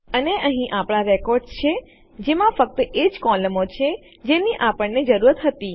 અને અહીં આપણા રેકોર્ડ્સ છે જેમાં ફક્ત એજ કોલમો છે જેની આપણને જરૂર હતી